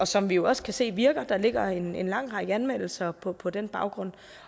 som vi jo også kan se virker der ligger en en lang række anmeldelser på på den baggrund